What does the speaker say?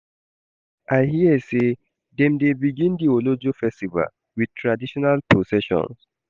I hear sey dem dey begin di Olojo festival wit traditional procession.